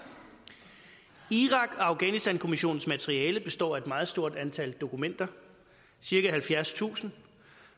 afghanistankommissionens materiale består af et meget stort antal dokumenter cirka halvfjerdstusind